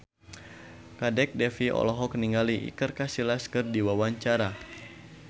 Kadek Devi olohok ningali Iker Casillas keur diwawancara